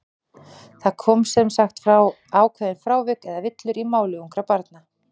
Það koma sem sagt fram ákveðin frávik, eða villur, í máli ungra barna.